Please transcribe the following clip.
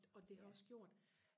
og det har også gjort